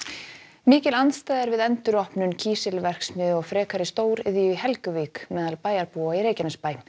mikil andstaða er við enduropnun kísilverksmiðju og frekari stóriðju í Helguvík meðal bæjarbúa í Reykjanesbæ